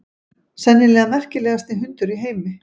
Sennilega merkilegasti hundur í heimi.